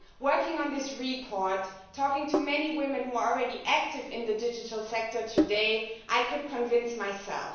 Working on this report, talking to many women who are already active in the digital sector today, I became convinced of this myself.